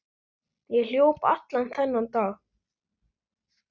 Ég hljóp allan þennan dag.